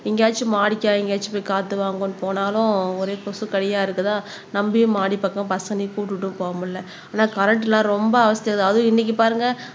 எங்கேயாச்சும் மாடிக்கா எங்கேயாச்சும் போய் காத்து வாங்கோன்னு போனாலும் ஒரே கொசு கடியா இருக்குதா நம்பியும் மாடிப்பக்கம் கூட்டிட்டும் போக முடியலை ஆனா கரண்ட் எல்லாம் ரொம்ப அவஸ்தைதான் அதுவும் இன்னைக்கு பாருங்க